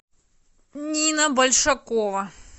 нина большакова